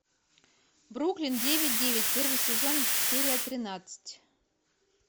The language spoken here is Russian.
бруклин девять девять первый сезон серия тринадцать